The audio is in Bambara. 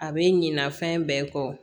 A bɛ ɲina fɛn bɛɛ kɔ